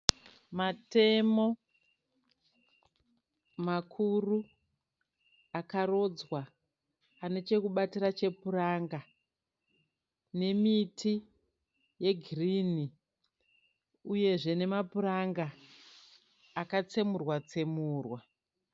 Matemo makuru akarodzwa anechekubatira chepuranga nemiti yegirini uyezve nemiti yakatsemurwa-tsemurwa.